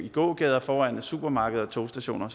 i gågader og foran supermarkeder og togstationer